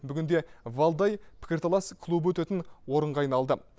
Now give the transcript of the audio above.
бүгінде валдай пікірталас клубы өтетін орынға айналды